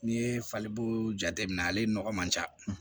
N'i ye falibooo jateminɛ ale nɔgɔ man ca